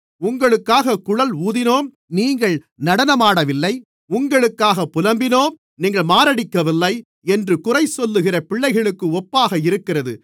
உங்களுக்காகக் குழல் ஊதினோம் நீங்கள் நடனமாடவில்லை உங்களுக்காகப் புலம்பினோம் நீங்கள் மாரடிக்கவில்லை என்று குறைசொல்லுகிற பிள்ளைகளுக்கு ஒப்பாக இருக்கிறது